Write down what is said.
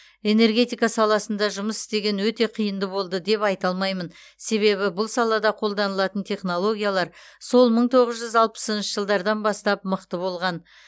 энергетика саласында жұмыс істеген өте қиынды болды деп айта алмаймын себебі бұл салада қолданылатын технологилар сол мың тоғыз жүз алпысыншы жылдардан бастап мықты болған